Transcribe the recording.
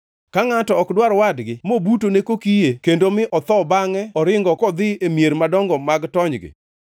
Ka ngʼato ok dwar wadgi mobutone kokiye kendo mi otho bangʼe oringo kodhi e mier madongo mag tonygi,